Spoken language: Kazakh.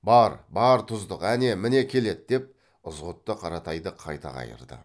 бар бар тұздық әне міне келеді деп ызғұтты қаратайды қайта қайырды